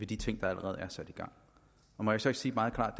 de ting der allerede er sat i gang og må jeg så ikke sige meget klart